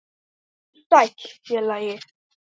Vertu sæll, félagi.